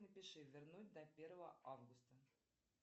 напиши вернуть до первого августа